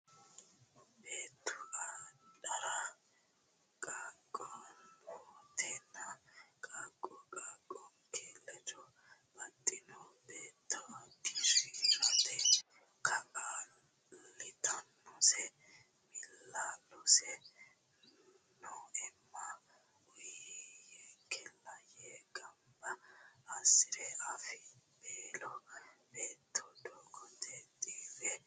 Beettu adhara qaaqqontena qaaqqo qaaqqinke ledo baxino beetto dii rate kaa litannosi miilla lossi neemmona uuyiyyenkella yee gamba assi re afibbeelo beetto doogote xiiwe massanno.